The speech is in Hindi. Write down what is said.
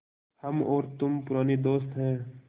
हम और तुम पुराने दोस्त हैं